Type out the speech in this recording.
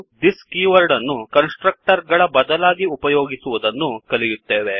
thisದಿಸ್ keyword ಅನ್ನು constructor ಗಳ ಬದಲಾವಣೆಗಾಗಿ ಉಪಯೋಗಿಸುವದನ್ನು ಕಲಿಯುತ್ತೇವೆ